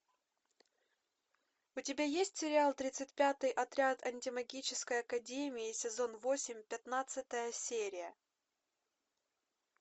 у тебя есть сериал тридцать пятый отряд антимагической академии сезон восемь пятнадцатая серия